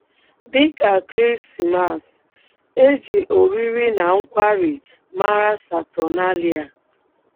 Dị ka Krismas, e ji oriri na nkwari mara Saturnalia.